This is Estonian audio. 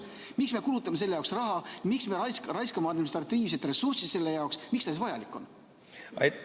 Miks me kulutame sellele raha, miks me raiskame administratiivset ressurssi selle jaoks, miks see siis vajalik on?